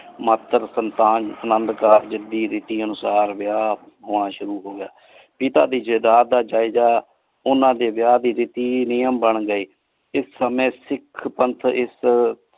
ਮਾਤਰ ਸਨਸਨ ਅਨੰਦੁ ਕਰ ਦੇ ਰੀਤੀ ਅਨੁਸਾਰ ਵਿਯਾਹ ਹੋਣਾ ਸ਼ੁਰੂ ਹੋਗ੍ਯ ਪਿਤਾ ਦੇ ਜਾਇਦਾਦ ਦਾ ਜਾਇਜਾ ਓਨਾ ਦੇ ਵਿਯਾਹ ਦੇ ਰੀਤੀ ਨਿਯਮ ਬਣ ਗਏ ਇਸ ਸਮਾਏ ਸਿਖ ਪਨ੍ਤ ਇਸ।